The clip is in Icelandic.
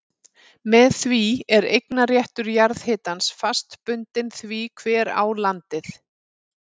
Með því er eignarréttur jarðhitans fast bundinn því hver á landið.